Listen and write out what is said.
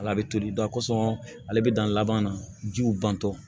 Ala bɛ toli ale bɛ dan laban na jiw bantɔ